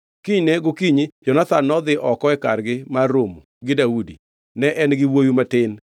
Kinyne gokinyi Jonathan nodhi oko e kargi mar romo gi Daudi. Ne en-gi wuowi matin,